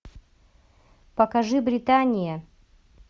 покажи британия